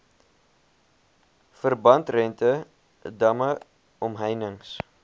verbandrente damme omheinings